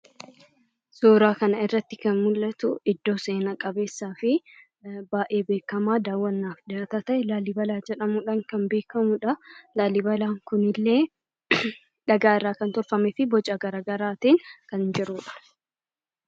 Suuraa kanarratti kan mul'atu iddoo seenaa qabeessaa fi baay'ee beekamaa daawwannaaf ta'e Laallibalaa jedhamuudhaan kan beekamudha. Laallibalaan kun dhagaarraa kan tolfamee fi boca garaagaraatiin kan jirudha.